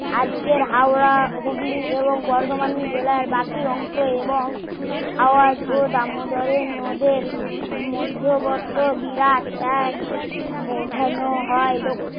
আজকে হাওড়া হুগলি এবং বর্ধমান জেলার বাকি অংশে আওয়াজ এবং দামোদরের নদের বিরাট এক বোঝানো হয় দক্ষিণ